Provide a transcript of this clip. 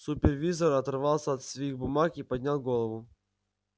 супервизор оторвался от своих бумаг и поднял голову